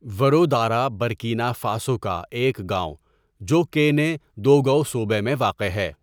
ورودارا Burkina Faso کا ایک گاؤں جو کےنےدؤگؤ صوبہ میں واقع ہے.